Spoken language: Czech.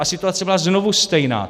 A situace byla znovu stejná.